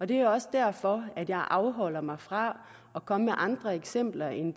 det er også derfor at jeg afholder mig fra at komme med andre eksempler end